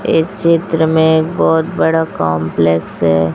ए चित्र में बहुत बड़ा कंपलेक्स है।